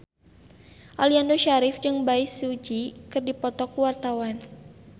Aliando Syarif jeung Bae Su Ji keur dipoto ku wartawan